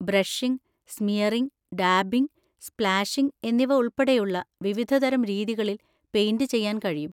Brushing, smearing, dabbing, splashing എന്നിവ ഉൾപ്പെടെയുള്ള വിവിധതരം രീതികളിൽ പെയിന്‍റ് ചെയ്യാൻ കഴിയും.